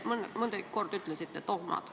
Nii mõnigi kord ütlesite sõna "dogmad".